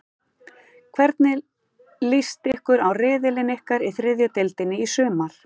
Hvernig list ykkur á riðilinn ykkar í þriðju deildinni í sumar?